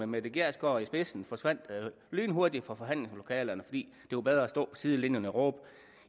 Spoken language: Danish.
mette gjerskov i spidsen lynhurtigt forsvandt fra forhandlingslokalet fordi det var bedre at stå på sidelinjen og råbe